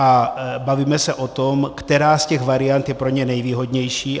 A bavíme se o tom, která z těch variant je pro ně nejvýhodnější.